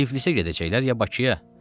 Tiflisə gedəcəklər ya Bakıya?